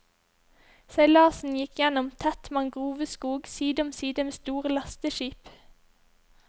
Seilasen gikk gjennom tett mangroveskog side om side med store lasteskip.